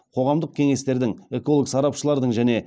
қоғамдық кеңестердің эколог сарапшылардың және